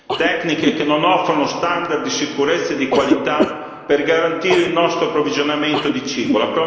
Queste tecniche non offrono standard di sicurezza e di qualità per garantire il nostro approvvigionamento di cibo.